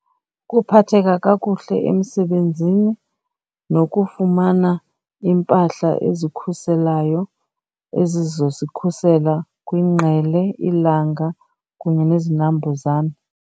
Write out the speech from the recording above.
Ukuphatheka kakuhle emsebenzini nokufumana iimpahla ezikhuselayo ezizozikhusela kwingqele, ilanga kunye nezinambuzane.